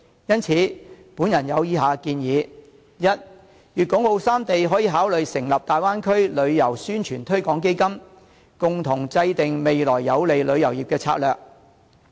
因此，我有以下建議：第一，粵港澳三地可以考慮成立大灣區旅遊宣傳推廣基金，共同制訂未來有利旅遊業的策略。